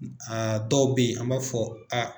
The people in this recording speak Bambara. A dɔw bɛ ye an m'a fɔ a